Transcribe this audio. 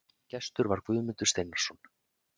Gestur var Guðmundur Steinarsson.